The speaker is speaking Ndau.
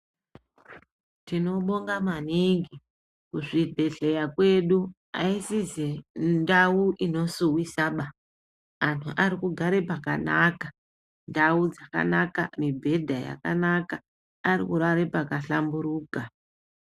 Tinobonga maningi kuzvibhehleya kwedu aisize ndau inosuwisisa. Antu arikugare pakanaka, ndau yakanaka, mibhedha yakanaka, ari kurare paka hlamburuka.